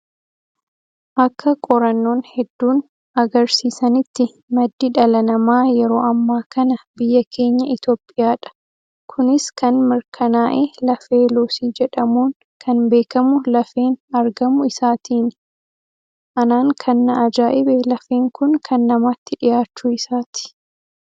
Akka qorannoon hedduun agarsiisanitti maddi dhala namaa yeroo ammaa kana biyya keenya Itoophiyaadha. Kunis kan mirkaa'e lafee luusii jedhamuun kan beekamu lafeen argamuu isaatiini. Anaan kan na ajaa'ibe lafeen kun kan namaatti dhiyaachuu isaati.